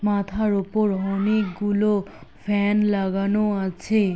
মাথার ওপর অনেকগুলো ফ্যান লাগানো আছে।